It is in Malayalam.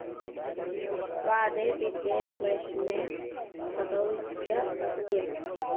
വാതേ പിത്തെ സ്ലെഷ്മേ സതൌചപഥ്യം